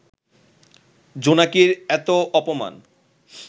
জোনাকির এত অপমান